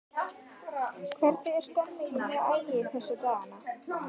Hvernig er stemningin hjá Ægi þessa dagana?